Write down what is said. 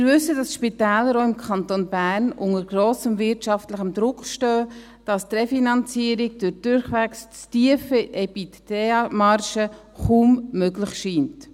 Wir wissen, dass auch die Spitäler im Kanton Bern unter grossem wirtschaftlichem Druck stehen, dass die Refinanzierung durch die durchweg zu tiefen EBITDA-Margen kaum möglich scheint.